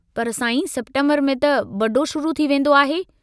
पर साईं सेप्टेम्बर में त बड़ो शुरू थी वेन्दो आहे।